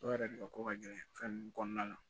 Dɔw yɛrɛ de ka ko ka gɛlɛn fɛn kɔnɔna na